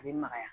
A bɛ magaya